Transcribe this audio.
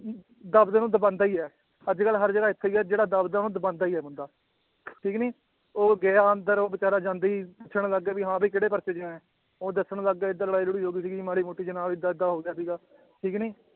ਦਸ ਦਿਨ ਉਹਨੂੰ ਦਬਾਉਂਦਾ ਹੀ ਹੈ ਅੱਜ ਕੱਲ੍ਹ ਹਰ ਜਗ੍ਹਾ ਹੀ ਹੈ ਜਿਹੜਾ ਦੱਬਦਾ ਉਹਨੂੰ ਦਬਾਉਂਦਾ ਹੀ ਹੈ ਬੰਦਾ ਠੀਕ ਨੀ ਉਹ ਗਿਆ ਅੰਦਰ ਉਹ ਬੇਚਾਰਾ ਜਾਂਦਾ ਹੀ ਪੁੱਛਣ ਲੱਗ ਗਿਆ ਵੀ ਹਾਂ ਕਿਹੜੇ ਪਰਚੇ ਚ ਆਇਆ, ਉਹ ਦੱਸਣ ਲੱਗ ਗਿਆ ਏਦਾਂ ਲੜਾਈ ਲੜੂਈ ਹੋ ਗਈ ਸੀਗੀ ਮਾੜੀ ਮੋਟੀ ਵੀ ਹਾਂ ਏਦਾਂ ਏਦਾਂ ਹੋ ਗਿਆ ਸੀਗਾ ਠੀਕ ਨੀ